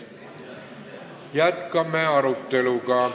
Jätkame arutelu!